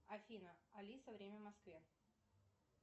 афина алиса время в москве